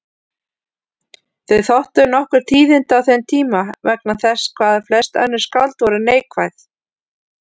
Þau þóttu nokkur tíðindi á þeim tíma vegna þess hvað flest önnur skáld voru neikvæð.